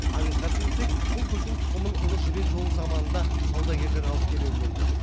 аңызға сенсек бұл гүлдің тұқымын ұлы жібек жолы заманында саудагерлер алып келуі мүмкін